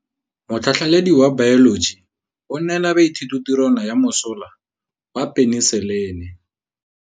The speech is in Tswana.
Motlhatlhaledi wa baeloji o neela baithuti tirwana ya mosola wa peniselene.